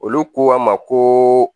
Olu ko a ma ko